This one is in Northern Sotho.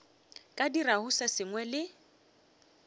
ka dirago se sengwe le